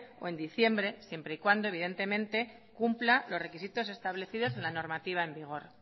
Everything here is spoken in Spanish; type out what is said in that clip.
o en diciembre siempre y cuando evidentemente cumpla los requisitos establecidos en la normativa en vigor